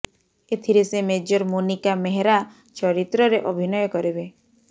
ଏଥିରେ ସେ ମେଜର୍ ମୋନିକା ମେହ୍ରା ଚରିତ୍ରରେ ଅଭିନୟ କରିବେ